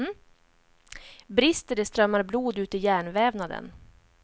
Brister det strömmar blod ut i hjärnvävnaden.